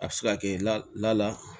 A bɛ se ka kɛ la la